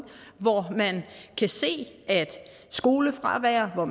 hvor man kan se at skolefravær og